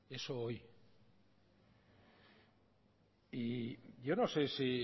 eso hoy y yo no sé si